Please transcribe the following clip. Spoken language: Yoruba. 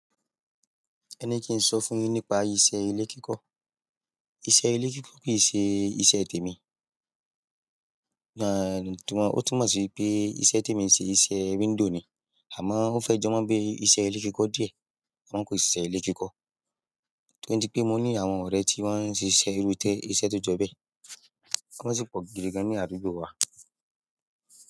Ẹni kí n sọ fún yín nípa iṣẹ́ ilé kíkọ. Iṣẹ́ ilé kíkọ kìí ṣe iṣẹ́ tèmi, ó túnmọ̀ sí wipé iṣẹ́ tèmi ṣe iṣẹ́ window ni. Amo o fe jo mo bíi iṣẹ́ ile kiko díẹ̀ amo ko yi se iṣẹ́ ile kiko. Torí ti pé mo ní àwọn ọ̀rẹ́ tí wọ́n n ṣe iṣẹ́ irú iṣẹ́, iṣẹ́ tó jọ bẹ́ẹ̀. Wọ́n sì pọ̀ gidi gan ní àdúgbò wa.